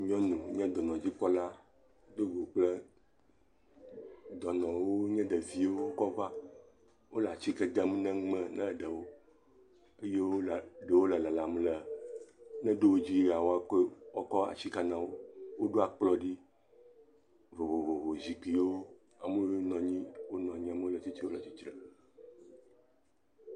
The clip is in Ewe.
Nye dɔnɔdzikpɔla wonɔ kple dɔ le wonye ɖeviwo kɔ va wo le atike dem ne nu me na ɖewo eye wo le ɖewo le lalam. Ne ɖo wo dzia woakɔ atsike na wo. Woɖo akplɔ ɖi vovovo, zikpuiwo ame wɔme enyi wo nɔ anyi amewo le tsitre wo le tsitre.